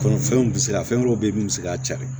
Kɔnɔfɛnw bɛ se ka fɛn wɛrɛw bɛ ye min bɛ se k'a cari